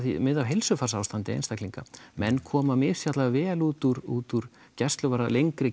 mið af heilsufarsástandi einstaklinga menn koma misjafnlega vel út úr út úr lengri